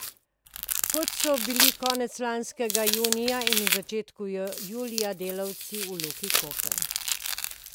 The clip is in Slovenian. Kot so bili konec lanskega junija in v začetku julija delavci v Luki Koper.